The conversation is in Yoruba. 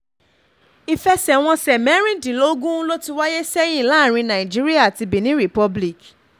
ìfẹsẹ̀wọnsẹ̀ mẹ́rìndínlógún ló ti wáyé sẹ́yìn láàrin nàìjíríà àti benin republic